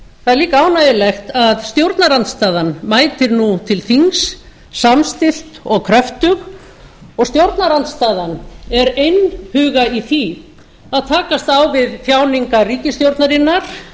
það er líka ánægjulegt að stjórnarandstaðan mætir nú til þings samstillt og kröftug og stjórnarandstaðan er einhuga í því að takast á við þjáningar ríkisstjórnarinnar